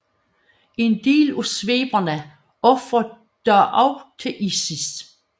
En del af sveberne ofrer dog også til Isis